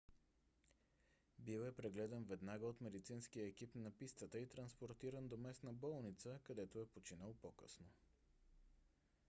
бил е прегледан веднага от медицинския екип на пистата и транспортиран до местна болница където е починал по - късно